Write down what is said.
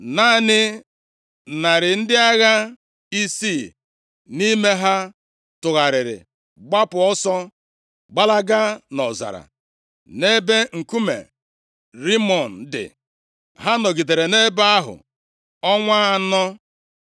Naanị narị ndị agha isii nʼime ha tụgharịrị gbapụ ọsọ gbalaga nʼọzara, nʼebe nkume Rimọn dị. Ha nọgidere nʼebe ahụ ọnwa anọ.